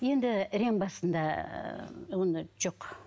енді рең басында ыыы оны жоқ